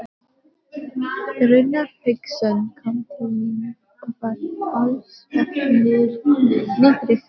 Rúnar Hauksson kom til mín og var talsvert niðrifyrir.